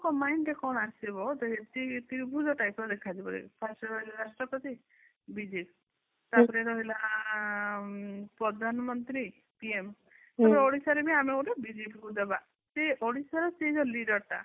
mind ରେ କଣ ଆସିବ ଦେଖେ ତ୍ରି ତ୍ରିଭୁଜ type ର ଦେଖାଯିବା ଦେଖେ first ରେ ରହିଲେ ରାଷ୍ଟ୍ରପତି ବିଜେପି ତାପରେ ରହିଲା ଆଁ ପ୍ରଧାନମତରୀ PM କିନ୍ତୁ ଓଡିଶା ରେ ଆମେ ବିଜେଡି କୁ ଦବା ସିଏ ଓଡିଶା ର ସିଏ leader ଟା